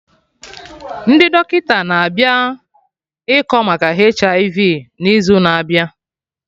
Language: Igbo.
Ndị dọkịta na-abịa ịkọ maka HIV n'izu na abịa